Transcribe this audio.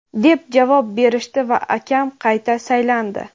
deb javob berishdi va akam qayta saylandi.